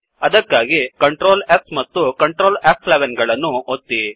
ಅದಕ್ಕಾಗಿ Ctrl S ಮತ್ತು Ctrl ಫ್11 ಗಳನ್ನು ಒತ್ತಿ